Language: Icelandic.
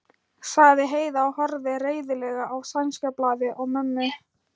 sagði Heiða og horfði reiðilega á sænska blaðið og mömmu.